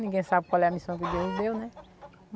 Ninguém sabe qual é a missão que Deus deu, né?